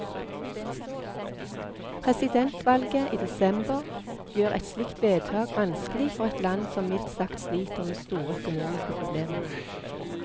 Presidentvalget i desember gjør et slikt vedtak vanskelig for et land som mildt sagt sliter med store økonomiske problemer.